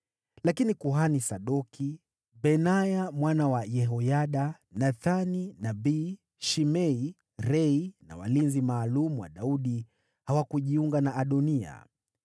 Lakini kuhani Sadoki, Benaya mwana wa Yehoyada, Nathani nabii, Shimei, Rei na walinzi maalum wa Daudi hawakujiunga na Adoniya.